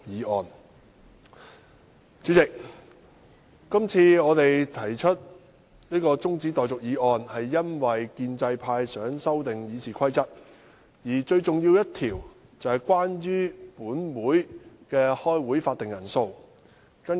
代理主席，我們今次提出中止待續議案是因為建制派想修訂《議事規則》，而最重要的一項與本會舉行會議的法定人數有關。